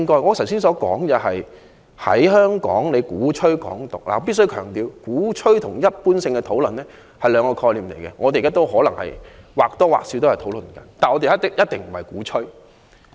我剛才談及有人在香港鼓吹"港獨"，我必須強調，鼓吹和一般性的討論是兩個概念，我們現在或多或少是在討論，但我們一定不是鼓吹。